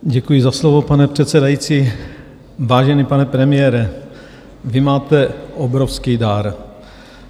Děkuji za slovo, pane předsedající, vážený pane premiére, vy máte obrovský dar.